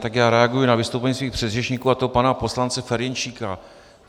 Tak já reaguji na vystoupení svých předřečníků, a to pana poslance Ferjenčíka.